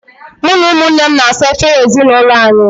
Mụ na ụmụnne m na-asa efere n'ezinaụlọ anyị.